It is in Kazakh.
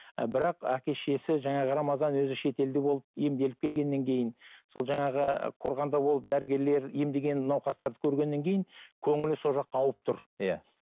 і бірақ әке шешесі жаңағы рамазан өзі шетелде болып емделіп келгеннен кейін сол жаңағы қорғанда болып дәрігерлер емдеген науқастарды көргеннен кейін көңілі сол жаққа ауып тұр иә